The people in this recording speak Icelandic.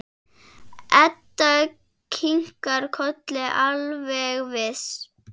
Edda kinkar kolli, alveg viss.